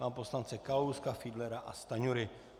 Pana poslance Kalouska, Fiedlera a Stanjury.